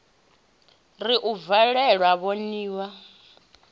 ri u valelwa voni ya